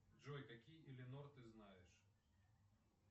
джой какие элинор ты знаешь